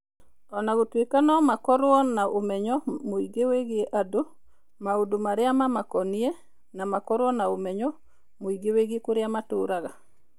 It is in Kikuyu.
O na gũtuĩka no makorũo na ũmenyo mũingĩ wĩgiĩ andũ, maũndũ marĩa mamakoniĩ, na makorũo na ũmenyo mũingĩ wĩgiĩ kũrĩa matũũraga.